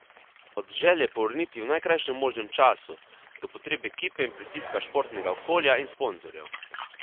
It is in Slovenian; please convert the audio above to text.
Od želje po vrnitvi v najkrajšem možnem času, do potreb ekipe in pritiska športnega okolja in sponzorjev.